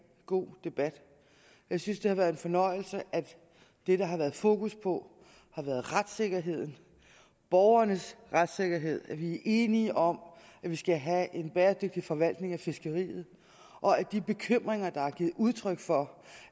god debat jeg synes det har været en fornøjelse at det der har været fokus på har været retssikkerheden borgernes retssikkerhed at vi er enige om at vi skal have en bæredygtig forvaltning af fiskeriet og at de bekymringer der er givet udtryk for